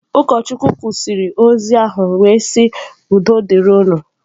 Ụkọchukwu kwụsịrị ozi ahụ wee sị udo dịrị unu.